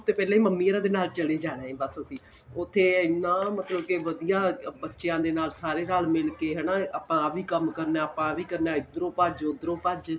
ਹਫ਼ਤੇ ਪਹਿਲਾਂ ਹੀ ਮੰਮੀ ਔਰਾ ਦੇ ਨਾਲ ਚਲੇ ਜਾਣਾ ਏ ਬੱਸ ਅਸੀਂ ਉਥੇ ਹਨਾ ਮਤਲਬ ਕੇ ਵਧੀਆ ਬੱਚਿਆਂ ਦੇ ਨਾਲ ਸਾਰੇ ਰੱਲ ਮਿਲ ਕੇ ਹਨਾ ਆਪਾਂ ਆਂ ਵੀ ਕੰਮ ਕਰਨਾ ਏ ਆਪਾਂ ਆਵੀ ਕਰਨਾ ਏ ਇੱਧਰੋ ਭੱਜ ਉੱਧਰੋ ਭੱਜ